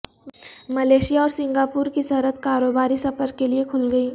Malaysia اور Singapore کی سرحد کاروباری سفر کے لیے کھل گئی